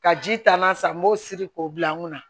Ka ji taa n'a san n b'o siri k'o bila n kunna